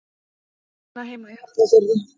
Hún á heima í Hafnarfirði.